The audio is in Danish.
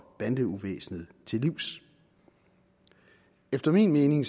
bandeuvæsenet til livs efter min mening